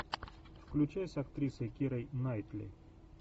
включай с актрисой кирой найтли